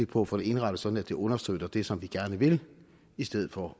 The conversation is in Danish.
på at få det indrettet sådan at det understøtter det som vi gerne vil i stedet for